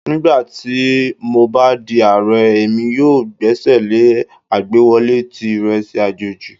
Nigbati mo ba di Aare, Emi yoo gbesele agbewọle ti iresi ajeji